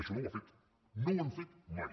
això no ho ha fet no ho han fet mai